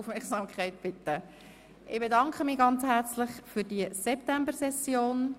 Ich bedanke mich ganz herzlich für diese Septembersession.